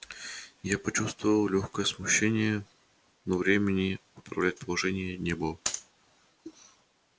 я почувствовал лёгкое смущение представив последствия своего приказа но времени выправлять положение не было